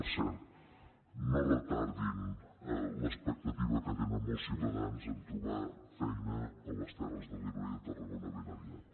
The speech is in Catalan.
per cert no retardin l’expectativa que tenen molts ciutadans a trobar feina a les terres de l’ebre i a tarragona ben aviat